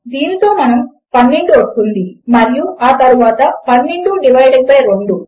దీనితో మనకు 12 వస్తుంది మరియు ఆ తరువాత 12 డివైడెడ్ బై 2